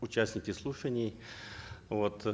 участники слушаний вот